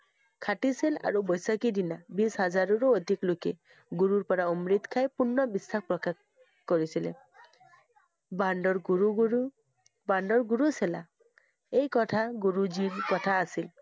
আৰু বৈশাখীৰ দিনা, বিশ হাজাৰৰো অধিক লোকে গুৰুৰ পৰা অমৃত খাই পূৰ্ণ। বিশ্বাস প্ৰকাশ কৰিছিলে। বন্দৰ গুৰু গুৰু~বন্দৰ গুৰু এই কথা গুৰুজীৰ কথা আছিল।